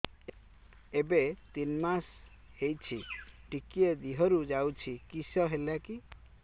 ଏବେ ତିନ୍ ମାସ ହେଇଛି ଟିକିଏ ଦିହରୁ ଯାଉଛି କିଶ ହେଲାକି